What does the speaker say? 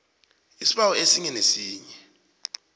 isibawo esinye nesinye